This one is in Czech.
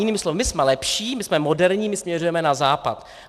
Jinými slovy: My jsme lepší, my jsme moderní, my směřujeme na Západ.